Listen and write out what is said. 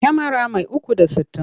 Kyamara mai 360.